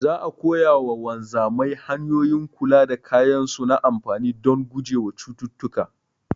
Za'a koya wa wanzamai hanyoyin kula da kayan su na amfani dan gujewa wa cututtuka